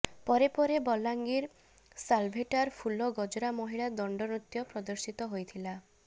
ପରେ ପରେ ବଲାଙ୍ଗିର ସାଲେଭଟାର ଫୁଲ ଗଜରା ମହିଳା ଦଣ୍ଡ ନୃତ୍ୟ ପ୍ରଦର୍ଶିତ ହୋଇଥିଲା